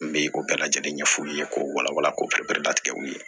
N bɛ o bɛɛ lajɛlen ɲɛ f'u ye k'o wala wala ko perelatigɛw ye